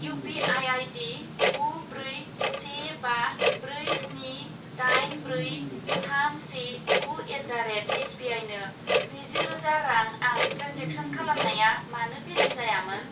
U P I ID गु ब्रै से बा ब्रै स्नि दाइन ब्रै थाम से गु एट दा रेट एसबिआइनो स्निजि रोजा रां आं ट्रेन्जेक्सन खालामनाया मानो फेलें जायामोन?